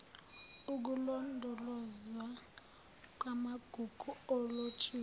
ukulondolozwa kwamagugu alotshiwe